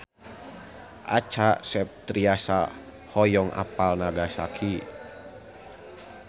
Acha Septriasa hoyong apal Nagasaki